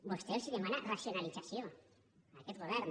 vostè els demana racionalització a aquest govern